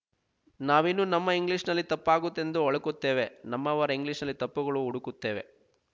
ನಾವಿನ್ನೂ ನಮ್ಮ ಇಂಗ್ಲೀಷ್ ನಲ್ಲಿ ತಪ್ಪಾಗುತ್ತದೆಂದು ಒಳುಕುತ್ತೇವೆ ನಮ್ಮವರ ಇಂಗ್ಲೀಷ್ ನಲ್ಲಿ ತಪ್ಪುಗಳನ್ನು ಹುಡುಕುತ್ತೇವೆ